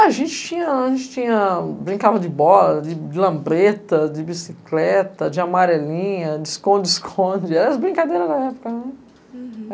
A gente tinha, a gente tinha, brincava de bola, de lambreta, de bicicleta, de amarelinha, de esconde-esconde, era as brincadeiras da época, né? Hurum.